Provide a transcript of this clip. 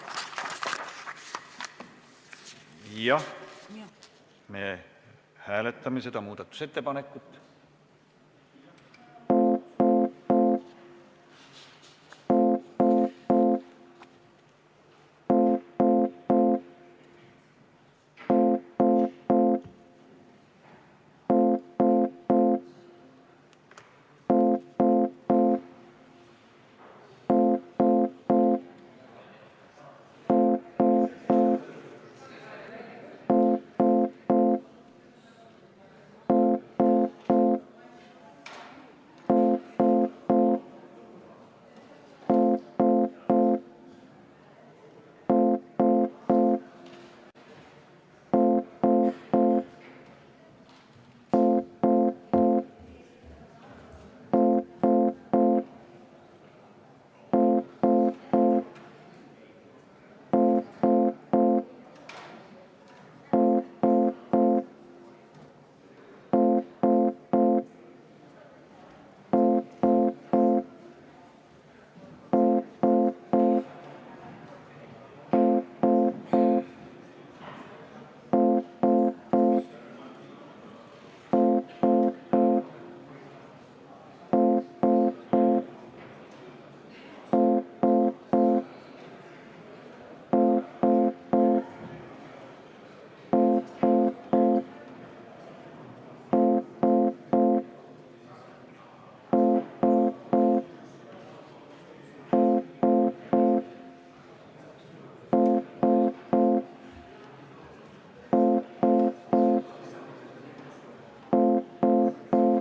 Jah, me hääletame seda muudatusettepanekut.